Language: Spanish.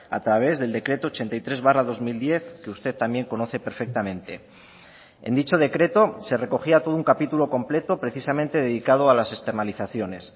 a través del decreto ochenta y tres barra dos mil diez que usted también conoce perfectamente en dicho decreto se recogía todo un capítulo completo precisamente dedicado a las externalizaciones